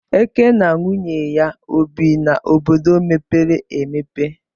Eke na nwunye ya obi n'obodo mepere emepe